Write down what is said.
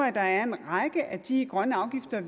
at der er en række af de grønne afgifter